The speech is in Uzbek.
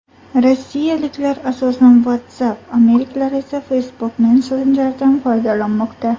Rossiyaliklar asosan WhatsApp, amerikaliklar esa Facebook Messenger’dan foydalanmoqda.